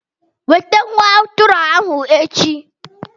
Weta nwa atụrụ ahu echi!